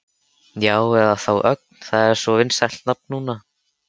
Já, eða þá Ögn, það er svo vinsælt nafn núna.